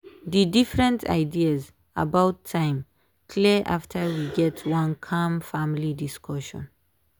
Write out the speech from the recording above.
dey different ideas about time clear after we get one calm family discussion.